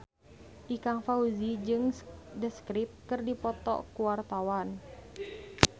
Ikang Fawzi jeung The Script keur dipoto ku wartawan